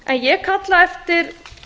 ég kalla eftir